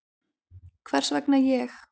Hvers vegna ég?